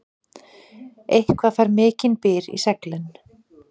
Eitthvað fær mikinn byr í seglin